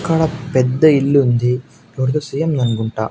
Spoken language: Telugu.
ఇక్కడ పెద్ద ఇల్లుంది ఎవరిదో సిఎం దన్కుంటా.